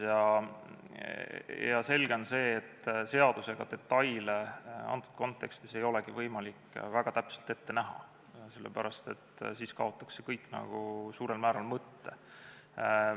Selge on see, et seadusega detaile antud kontekstis ei olegi võimalik väga täpselt ette näha, sest siis kaotaks see kõik suurel määral mõtte.